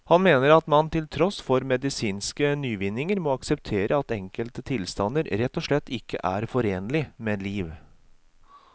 Han mener at man til tross for medisinske nyvinninger må akseptere at enkelte tilstander rett og slett ikke er forenlig med liv.